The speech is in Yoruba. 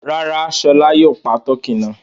Rárá, Ṣọlá yóò pa tọkí náà.